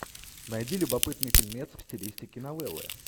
найди любопытный фильмец в стилистике новеллы